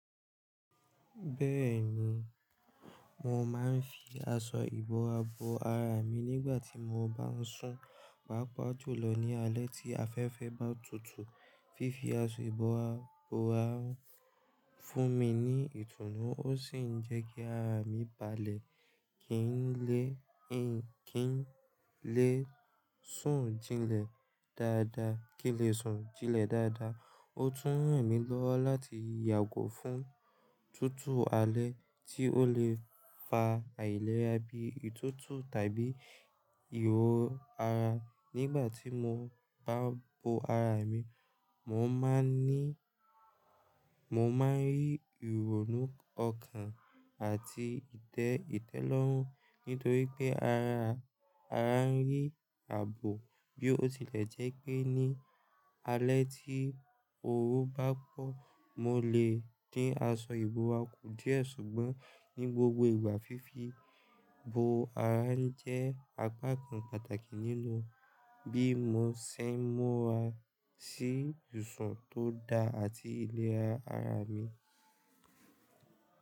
Bẹ́ẹ̀ni, mo máa ń fi aṣọ ìbora bo ara mi nígbà tí mo bá ń sùn. Pàapà jùlọ ní alẹ́ tí afẹ́fẹ́ bá tutù. Fífi aṣọ ìbora bo ara ń fún mi ní ìtùnú ó sì ń jẹ́ kí ara mi balẹ̀ kí n lè, kí n lè sùn jinlẹ̀ dáadáa, kí n lè sùn jinlẹ̀ dáadáa. Ó tún ràn mí lọ́wọ́ láti yàgò fún tutù alẹ́ tí ó lè fa àìlera bí ìtútù tàbí ìhó ara. Nígbà tí mo bá bo ara mi, mo máa ń ní, mo máa ń rí ìrònú ọkàn àti ìtẹ́, ìtẹ́lọ́rùn nítorí pé ara, ara ń rí àbò bí ó tilẹ̀ jẹ́ pé ní alẹ́ tí oru bá pọ̀, mo lè dín aṣọ ìbora kù díẹ̀ ṣùgbọ́n ní gbogbo ìgbà fífi bo ara ń jẹ́ apá kan pàtàkì nínú bí mo ṣe ń múra sí ìsùn tó da àti ìlera ara mi.